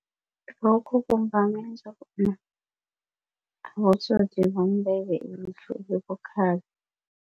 Lokho kungamenza bona abotsotsi bambeke ilihlo elibukhali.